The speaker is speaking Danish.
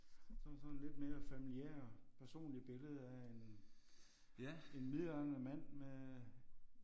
Så er der sådan lidt mere familiære personlig billede af en en midaldrende mand med